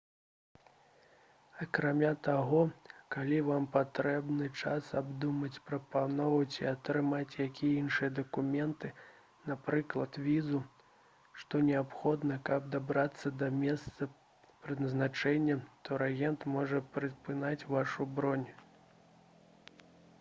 акрамя таго калі вам патрэбны час абдумаць прапанову ці атрымаць якія іншыя дакументы напрыклад візу што неабходны каб дабрацца да месца прызначэння турагент можа прытрымаць вашу бронь